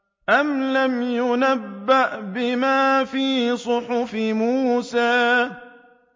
أَمْ لَمْ يُنَبَّأْ بِمَا فِي صُحُفِ مُوسَىٰ